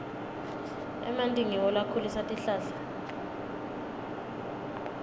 emanti ngiwo lakhulisa tihlahla